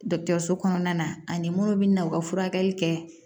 Dɔgɔtɔrɔso kɔnɔna na ani munnu bɛ na u ka furakɛli kɛ